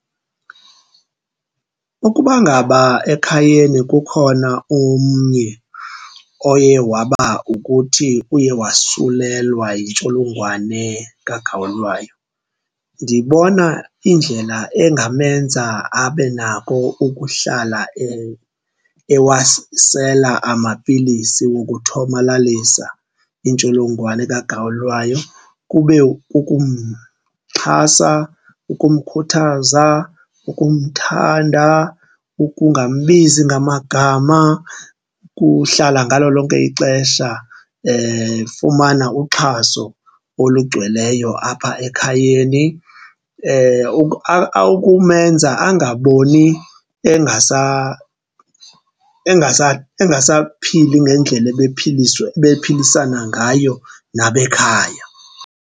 Ukuba ngaba ekhayeni kukhona omnye oye waba ukuthi uye wasulelwa yintsholongwane kagawulayo ndibona indlela engamenza abe nako ukuhlala ewasela amapilisi wokuthomalalisa intsholongwane kagawulayo kube kukumxhasa, ukumkhuthaza, ukumthanda, ukungambizi ngamagama. Kuhlala ngalo lonke ixesha efumana uxhaso olugcweleyo apha ekhayeni ukumenza angaboni engasaphili ngendlela ebephilisana ngayo nabekhaya.